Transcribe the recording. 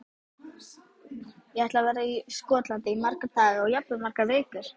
Ég ætla að vera í Skotlandi í marga daga, jafnvel í margar vikur.